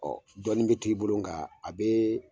Ɔ dɔɔni bi to i bolo , ngan a bi